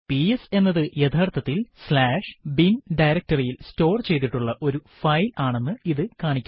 PS എന്നത് യഥാർത്ഥത്തിൽ bin directoryയിൽ സ്റ്റോർ ചെയ്തിട്ടുള്ള ഒരു ഫൈൽ ആണെന്ന് ഇത് കാണിക്കുന്നു